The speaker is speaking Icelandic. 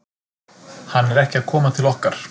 Hann er ekki að koma til okkar.